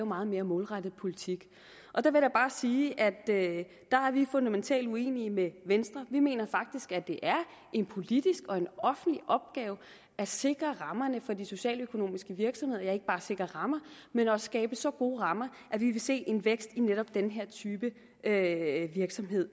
meget mere målrettet politik der vil jeg bare sige at der er vi fundamentalt uenige med venstre vi mener faktisk at det er en politisk og offentlig opgave at sikre rammerne for de socialøkonomiske virksomheder ja ikke bare sikre rammerne men også skabe så gode rammer at vi vil se en vækst i netop den her type af virksomheder